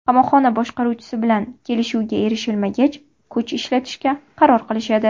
Qamoqxona boshqaruvchisi bilan kelishuvga erishilmagach, kuch ishlatishga qaror qilishadi.